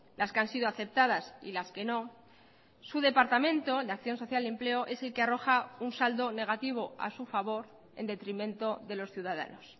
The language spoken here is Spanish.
las que han sido aceptadas y las que no su departamento de acción social y empleo es el que arroja un saldo negativo a su favor en detrimento de los ciudadanos